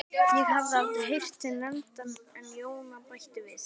Ég hafði aldrei heyrt þig nefndan en Jóna bætti við